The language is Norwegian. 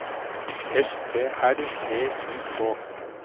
S T R E I K